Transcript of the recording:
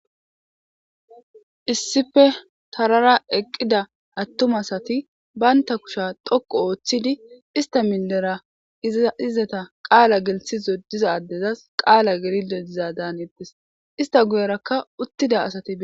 Issippe tarara eqqi uttida ade asati banta kushiya dhoqu histidi izzeta qala gelthiza adezas qala gelishe dizadan hanetes ista guyeraka uttida asati betetes